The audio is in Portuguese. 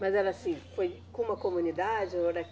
Mas era assim, foi com uma comunidade ou?